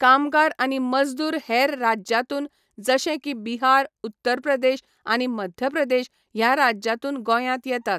कामगार आनी मजदूर हेर राज्यांतून जशें की बिहार उत्तर प्रदेश आनी मध्य प्रदेश ह्या राज्यां तून गोंयांत येतां